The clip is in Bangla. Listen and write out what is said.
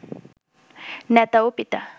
নেতা ও পিতা